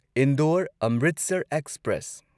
Indore Amritsar express